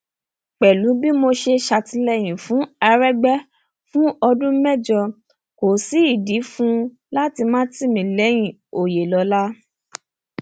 pẹlú bí mo ṣe ṣàtìlẹyìn fún àrẹgbẹ fún ọdún mẹjọ kò sí ìdí fún un láti má tì mí lẹyìn òyelọlá